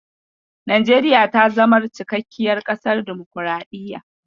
Najeriya ta zamar cikakkiyar ƙasar damukuraɗiyya.